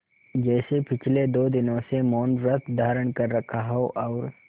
जैसे पिछले दो दिनों से मौनव्रत धारण कर रखा हो और